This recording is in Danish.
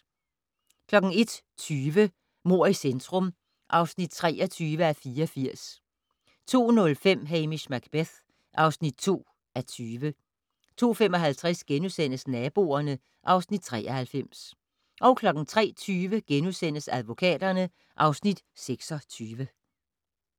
01:20: Mord i centrum (23:84) 02:05: Hamish Macbeth (2:20) 02:55: Naboerne (Afs. 93)* 03:20: Advokaterne (Afs. 26)*